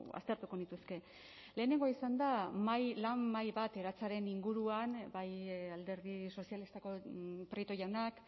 aztertuko nituzke lehenengoa izan da lan mahai bat eratzearen inguruan bai alderdi sozialistako prieto jaunak